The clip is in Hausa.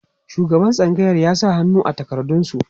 shugaban tsangayar ya sa hannu a takardan su